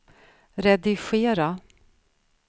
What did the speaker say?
redigera